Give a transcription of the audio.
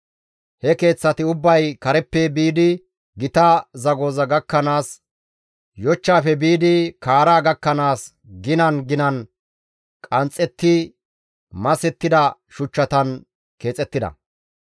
He keeththati ubbay kareppe biidi gita zagoza gakkanaas, yochchaafe biidi kaara gakkanaas ginan ginan qanxxetti masettida shuchchatan keexettida.